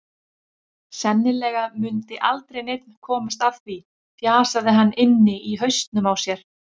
Sennilega mundi aldrei neinn komast að því, fjasaði hann inni í hausnum á sér.